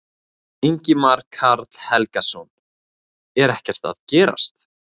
Ingimar Karl Helgason: Er það ekki að gerast?